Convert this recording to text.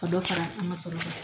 Ka dɔ fara an ka sɔrɔ kan